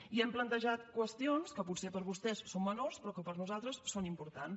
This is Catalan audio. i hem plantejat qüestions que potser per vostès són menors però que per nosaltres són importants